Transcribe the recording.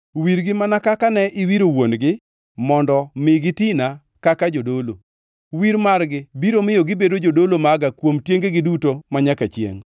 Wirgi mana kaka ne iwiro wuon-gi mondo mi gitina kaka jodolo. Wir margi biro miyo gibedo jodolo maga kuom tiengegi duto manyaka chiengʼ